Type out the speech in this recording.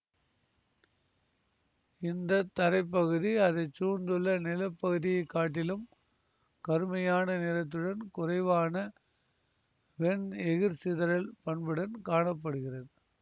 இந்த தரைப்பகுதி அதைச்சூழ்ந்துள்ள நிலப்பகுதியைக் காட்டிலும் கருமையான நிறத்துடன் குறைவான வெண் எகிர்சிதறல் பண்புடன் காண படுகிறது